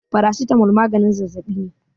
Paracetamol maganin zazzabi ne.